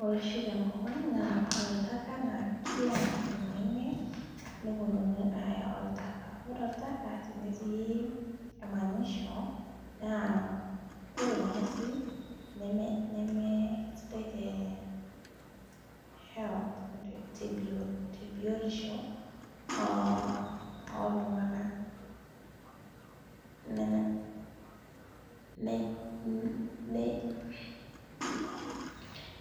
Ore oshi tenkop ang naa ore olntaka naa ore kila jumanne neponunui aaya olntaka ore olntaka tenetii emanyisho naa ore orng'usil nemee sidai te health biotisho aah ooltunganak